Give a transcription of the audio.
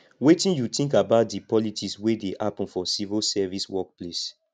wetin you think about di politics wey dey happen for civil service workplace